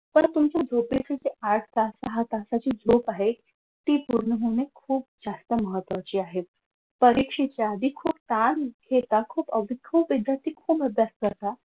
पार तुमचं जे झोपेचं जी आठ तास दहा तासाची झोप आहे ती पूर्ण होणे जास्त महत्वाचे आहे परीक्षेच्या आधी खूप ताण घेता खूप अविद्य पद्धतीने मदत करता